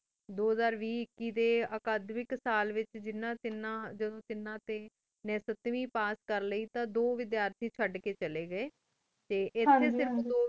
ਦੋ ਹਜ਼ਾਰ ਵੇ ਏਕਿਟੀ ਡੀ ਅਖਾੜ ਵੇਕ ਸਾਲ ਵੇਚ ਜੇਨਾ ਤੇਨਾ ਤੇਨਾ ਟੀ ਸਤਵੇ ਪਾਸ ਕਰ ਲੇਇ ਓਵੇਚਾਰਤੀ ਚੜ ਕੀ ਚਲੀ ਗੀ ਟੀ ਹੁਣ ਦੋ